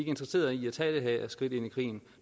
interesseret i at tage det her skridt ind i krigen